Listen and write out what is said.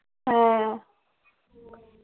হ্যাঁ